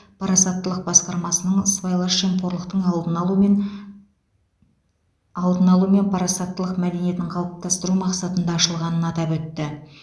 парасаттылық басқармасының сыбайлас жемқорлықтың алдын алу мен алдын алу мен парасаттылық мәдениетін қалыптастыру мақсатында ашылғанын атап өтті